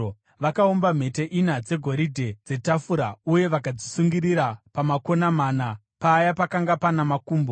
Vakaumba mhete ina dzegoridhe dzetafura uye vakadzisungirira pamakona mana, paya pakanga pana makumbo.